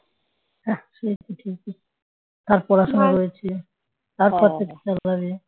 আঃ সেটাই সেটাই তার পড়াশোনা রয়েছে তারপর থেকে